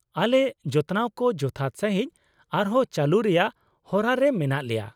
ᱟᱞᱮ ᱡᱚᱛᱱᱟᱣ ᱠᱚ ᱡᱚᱛᱷᱟᱛ ᱥᱟᱹᱦᱤᱡ ᱟᱨᱦᱚᱸ ᱪᱟᱞᱩ ᱨᱮᱭᱟᱜ ᱦᱚᱨᱟ ᱨᱮ ᱢᱮᱱᱟᱜ ᱞᱮᱭᱟ ᱾